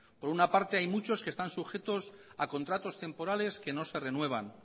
por una parte hay muchos que están sujetos a contratos temporales que no se renuevan